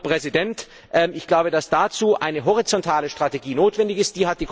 Herr Präsident, ich glaube, dass dazu eine horizontale Strategie notwendig ist.